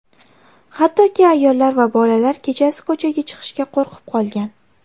Hattoki ayollar va bolalar kechasi ko‘chaga chiqishga qo‘rqib qolgan.